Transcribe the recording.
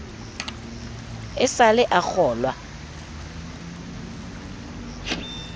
e sa le a kgolwa